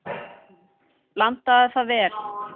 Hann: Blandaðu það vel.